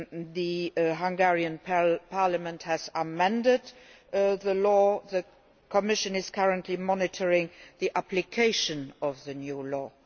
The Hungarian Parliament has amended the law and the Commission is currently monitoring the application of the new law.